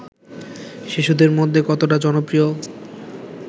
শিশুদের মধ্যে কতটা জনপ্রিয়